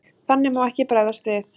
Þannig má ekki bregðast við.